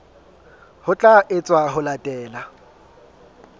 ho tla etswa ho latela